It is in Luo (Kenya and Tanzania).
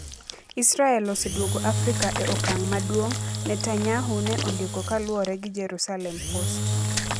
Israel oseduogo Afrika e okang ' maduong ', Netanyahu ne ondiko kaluwore gi Jerusalem Post.